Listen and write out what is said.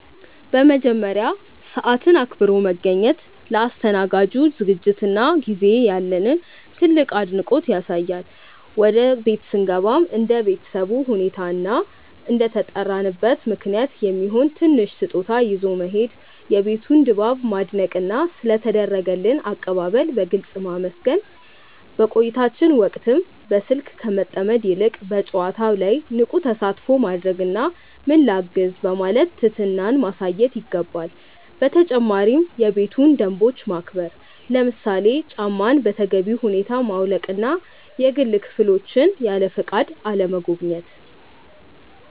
በመጀመሪያ፣ ሰዓትን አክብሮ መገኘት ለአስተናጋጁ ዝግጅትና ጊዜ ያለንን ትልቅ አድናቆት ያሳያል። ወደ ቤት ስንገባም እንደ ቤተሰቡ ሁኔታ እና እንደተጠራንበት ምክንያት የሚሆን ትንሽ ስጦታ ይዞ መሄድ፣ የቤቱን ድባብ ማድነቅና ስለ ተደረገልን አቀባበል በግልጽ ማመስገን። በቆይታችን ወቅትም በስልክ ከመጠመድ ይልቅ በጨዋታው ላይ ንቁ ተሳትፎ ማድረግና "ምን ላግዝ?" በማለት ትህትናን ማሳየት ይገባል። በተጨማሪም የቤቱን ደንቦች ማክበር፣ ለምሳሌ ጫማን በተገቢው ቦታ ማውለቅና የግል ክፍሎችን ያለፈቃድ አለመጎብኘት።